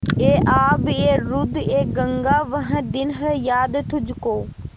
ऐ आबएरूदएगंगा वह दिन हैं याद तुझको